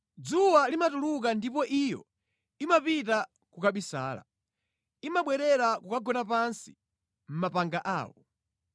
Dzuwa limatuluka ndipo iyo imapita kukabisala; imabwerera kukagona pansi mʼmapanga awo.